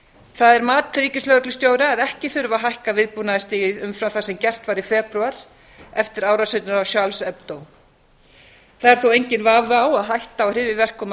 það er mat ríkislögreglustjóra að ekki þurfi að hækka viðbúnaðarstigið umfram það sem gert var í febrúar eftir það er þó enginn vafi á að hætta á hryðjuverkum